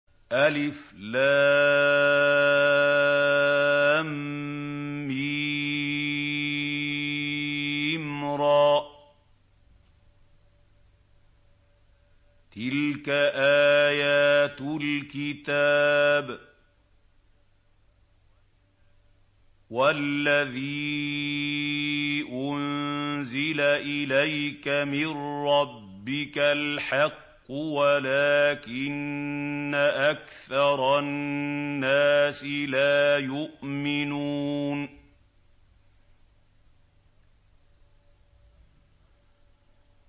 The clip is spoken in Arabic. المر ۚ تِلْكَ آيَاتُ الْكِتَابِ ۗ وَالَّذِي أُنزِلَ إِلَيْكَ مِن رَّبِّكَ الْحَقُّ وَلَٰكِنَّ أَكْثَرَ النَّاسِ لَا يُؤْمِنُونَ